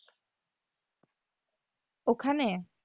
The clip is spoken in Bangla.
ওখানে?